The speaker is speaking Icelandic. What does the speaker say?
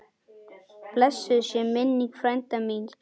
Blessuð sé minning frænda míns.